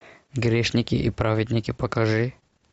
грешники и праведники покажи